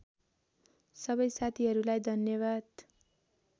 सबै साथीहरूलाई धन्यवाद